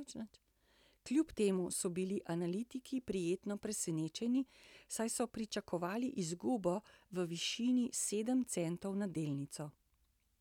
Kljub temu so bili analitiki prijetno presenečeni, saj so pričakovali izgubo v višini sedem centov na delnico.